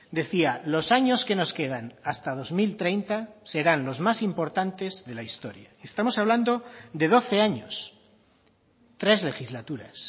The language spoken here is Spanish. decía los años que nos quedan hasta dos mil treinta serán los más importantes de la historia estamos hablando de doce años tres legislaturas